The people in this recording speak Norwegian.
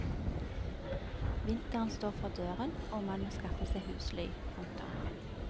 Vinteren står for døren og man må skaffe seg husly. punktum